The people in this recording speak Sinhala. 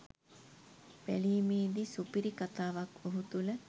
බැලීමේදී සුපිරි කතාවක්‌ ඔහු තුළ